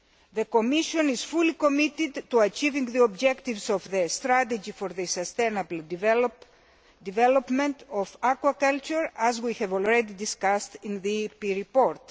The Commission is fully committed to achieving the objectives of the strategy for the sustainable development of aquaculture, as we have already discussed in the EP report.